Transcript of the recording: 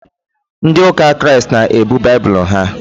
Ndị ụka Kraịst na-ebu baibulu ha.